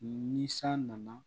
Ni san nana